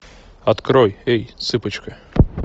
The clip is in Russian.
открой эй цыпочка